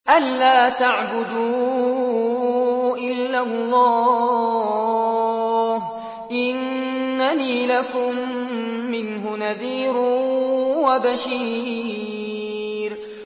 أَلَّا تَعْبُدُوا إِلَّا اللَّهَ ۚ إِنَّنِي لَكُم مِّنْهُ نَذِيرٌ وَبَشِيرٌ